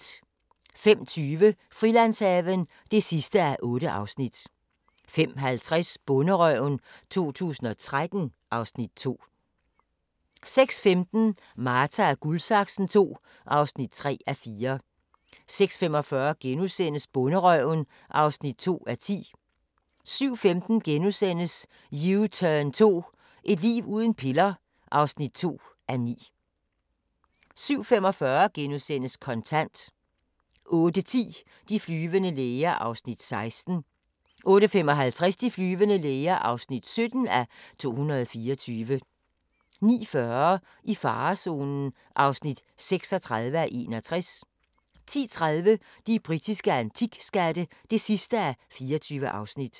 05:20: Frilandshaven (8:8) 05:50: Bonderøven 2013 (Afs. 2) 06:15: Marta & Guldsaksen II (3:4) 06:45: Bonderøven (2:10)* 07:15: U-turn 2 – et liv uden piller (2:9)* 07:45: Kontant * 08:10: De flyvende læger (16:224) 08:55: De flyvende læger (17:224) 09:40: I farezonen (36:61) 10:30: De britiske antikskatte (24:24)